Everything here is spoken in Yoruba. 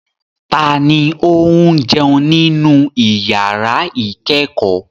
Ta ni ó ń jẹun nínú ìyàrá-ìkẹ́kọ̀ọ́?